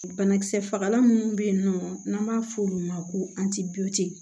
Banakisɛ fagalan minnu bɛ yen nɔ n'an b'a fɔ olu ma ko